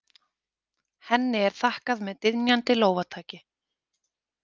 Henni er þakkað með dynjandi lófataki.